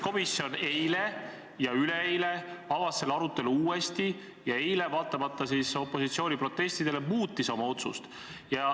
Kuid eile ja üleeile avas põhiseaduskomisjon selle arutelu uuesti ning eile, vaatamata opositsiooni protestidele, muutis oma otsust.